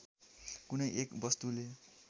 कुनै एक वस्तुले